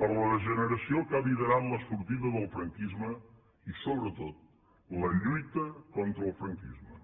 per la generació que ha liderat la sortida del franquisme i sobretot la lluita contra el franquisme